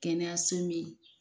Kɛnɛyaso min